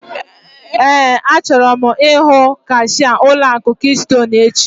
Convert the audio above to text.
Éè, achọrọ m ihu kashia ụlọ akụ kistonu echi